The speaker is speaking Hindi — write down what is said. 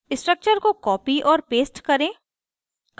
structure को copy और paste करें